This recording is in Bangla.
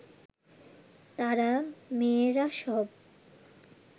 তারা, মেয়েরা সব